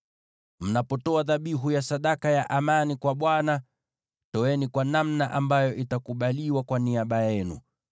“ ‘Mnapotoa dhabihu ya sadaka ya amani kwa Bwana , toeni kwa namna ambayo itakubaliwa kwa niaba yenu.